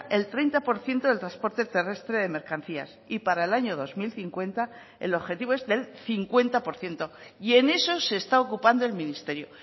el treinta por ciento del transporte terrestre de mercancías y para el año dos mil cincuenta el objetivo es del cincuenta por ciento y en eso se está ocupando el ministerio